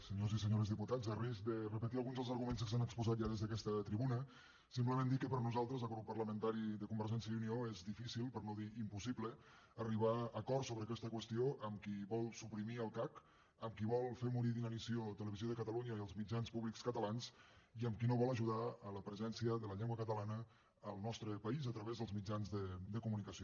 senyors i senyores diputats a risc de repetir alguns dels arguments que s’han exposat ja des d’aquesta tribuna simplement dir que per nosaltres el grup parlamentari de convergència i unió és difícil per no dir impossible arribar a acords sobre aquesta qüestió amb qui vol suprimir el cac amb qui vol fer morir d’inanició televisió de catalunya i els mitjans públics catalans i amb qui no vol ajudar a la presència de la llengua catalana al nostre país a través dels mitjans de comunicació